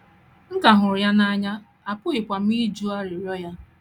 M ka hụrụ ya n’anya, apụghịkwa m ịjụ arịrịọ arịrịọ ya.